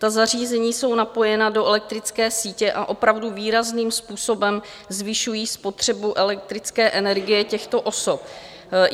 Ta zařízení jsou napojena do elektrické sítě a opravdu výrazným způsobem zvyšují spotřebu elektrické energie těchto osob.